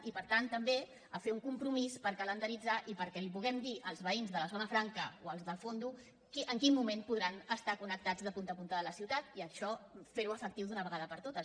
i per tant també a fer un compromís per calendaritzar i perquè li puguem dir als veïns de la zona franca o als de fondo en quin moment podran estar connectats a punta a punta de la ciutat i això fer ho efectiu d’una vegada per totes